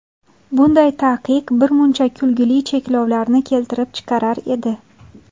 Bunday taqiq birmuncha kulgili cheklovlarni keltirib chiqarar edi.